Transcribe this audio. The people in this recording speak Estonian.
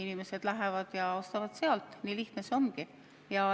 Inimesed lähevad ja ostavad sealt, nii lihtne see ongi.